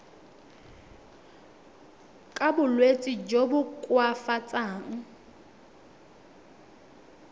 ka bolwetsi jo bo koafatsang